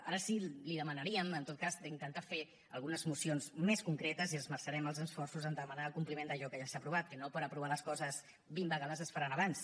ara sí li demanaríem en tot cas d’intentar fer algunes mocions més concretes i esmerçarem els esforços a demanar el compliment d’allò que ja s’ha aprovat que no per aprovar les coses vint vegades es faran abans